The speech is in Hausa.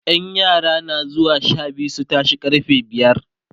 ƴan Rana na zuwa Sha biyu su tashe karfe biyar